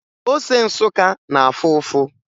Ose Nsụka na-afụ ụfụ